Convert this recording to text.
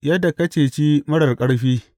Yadda ka ceci marar ƙarfi!